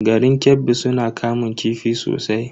Garin Kebbi suna kamun kifi sosai.